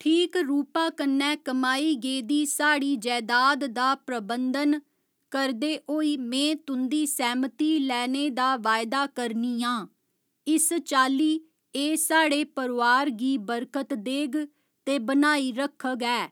ठीक रूपा कन्नै कमाई गेदी साढ़ी जैदाद दा प्रबंधन करदे होई में तुं'दी सैह्‌मती लैने दा वायदा करनी आं, इस चाल्ली एह् साढ़े परोआर गी बरकत देग ते बनाई रक्खग ऐ।